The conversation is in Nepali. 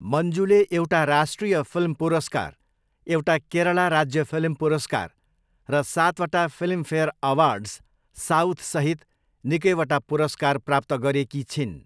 मञ्जुले एउटा राष्ट्रिय फिल्म पुरस्कार, एउटा केरला राज्य फिल्म पुरस्कार र सातवटा फिल्मफेयर अवार्ड्स साउथसहित निकैवटा पुरस्कार प्राप्त गरेकी छिन्।